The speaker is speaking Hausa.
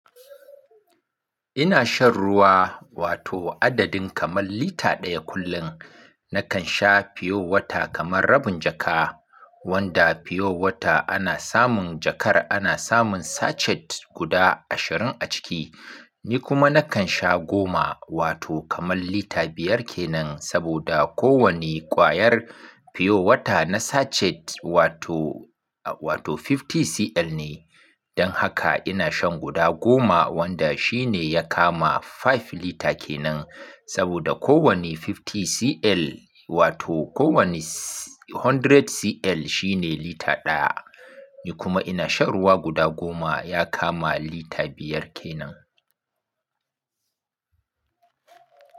Ina shan ruwa wato adadin kamar lita ɗaya kullum. Nakan sha Pure Water kamar rabin jaka, wanda Pure Water ana samun jakar ana samun sachet guda ashirin a ciki. Ni kuma nakan sha goma wato kamar lita biyar ke nan saboda kowane kwayar Pure Water na sachet wato, wato 50cl ne. Don haka ina shan guda goma wanda shi ne ya kama five lita ke nan saboda kowane 50cl wato kowane 100 100cl shi ne lita ɗaya. Ni kuma ina shan ruwa guda goma ya kama lita biyar ke nan.